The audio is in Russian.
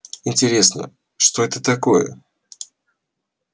интересно что это такое